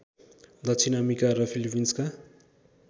दक्षिण अमेरिका र फिलिपिन्सका